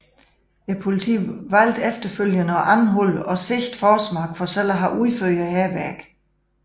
Politiet valgte efterfølgende at anholde og sigte Forsmark for selv at have udført hærværket